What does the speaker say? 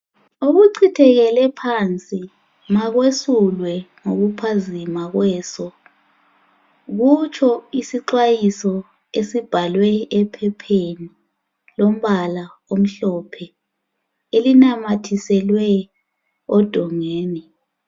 Okuchithekele phansi makwesulwe ngokuphazima kweso, kutsho isixwayiso esibhalwe ephepheni elilombala omhlophe, elinamathiselwe odongeni.